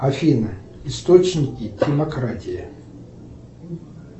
афина источники демократии